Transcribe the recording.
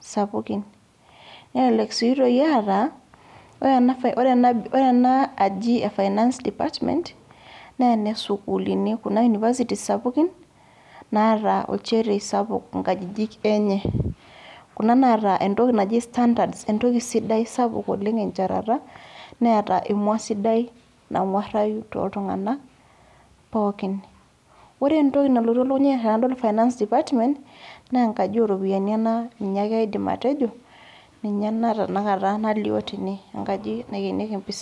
sapukin. Nelelek si toi eeta, ore ena aji finance department, nene sukuulini kuna University sapukin, naata olchetei sapuk inkajijik enye. Kuna naata entoki naji standard entoki sidai sapuk oleng enchetata, neeta emua sidai nang'uarrayu toltung'anak, pookin. Ore entoki nalotu elukunya ai tenadol finance department, nenkaji oropiyiani ena, ninye ake aidim atejo, ninye ena tanakata nalio tene, enkaji naikenieki mpisai.